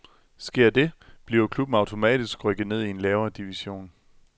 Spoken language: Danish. Sker det, bliver klubben automatisk rykket ned i en lavere division.